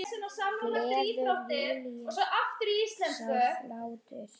Gleður Júlíu sá hlátur.